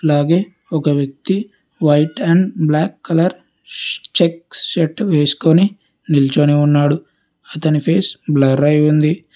అలాగే ఒక వ్యక్తి వైట్ అండ్ బ్లాక్ కలర్ ష్ చెక్ షర్ట్ వేసుకొని నిల్చొని ఉన్నాడు అతని ఫేస్ బ్లరై ఉంది.